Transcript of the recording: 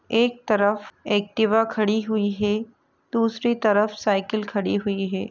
एक तरफ एक्टिवा खड़ी हुई हे दूसरी तरफ साइकिल खड़ी हुई हे ।